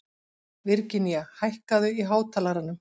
Virginía, hækkaðu í hátalaranum.